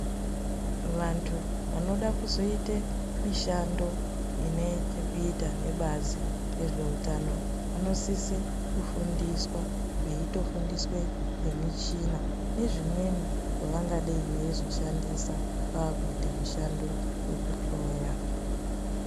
Vantu vanoda kuzoita mishando inechekuita nebazi rezveutano vanosisa kufundiswa veizofundiswa nemichina nezvimweni zvavangadei veizoshandisa vakuita mushando wekuhloya.